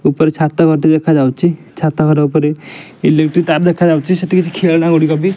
ଉପରେ ଛାତ ଗୋଟିଏ ଦେଖାଯାଉଛି ଛାତ ଘର ଉପରେ ଇଲେକଟ୍ରି ତାର ଦେଖାଯାଉଛି ସେଠି ଖେଳନା ଗୁଡିକବି --